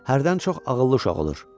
Hərdən çox ağıllı uşaq olur.